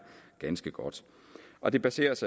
ganske godt og det baseres